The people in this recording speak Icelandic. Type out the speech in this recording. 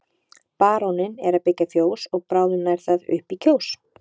Baróninn er að byggja fjós og bráðum nær það upp í Kjós.